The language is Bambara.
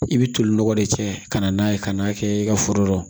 I bɛ toli nɔgɔ de cɛ ka na n'a ye ka n'a kɛ i ka foro kɔnɔ